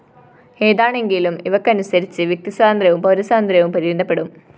ഏതാണെങ്കിലും ഇവക്കനുസരിച്ച് വ്യക്തി സ്വാതന്ത്ര്യവും പൗരസ്വാതന്ത്ര്യവും പരിമിതപ്പെടും